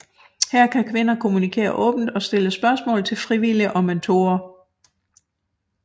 Her kan kvinder kommunikere åbent og stille spørgsmål til frivillige og mentorer